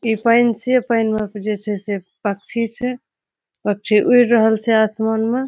ई fancy पहनवा पे जे छे से पक्षी छे। पक्षी उड़ रहल छे आसमान में।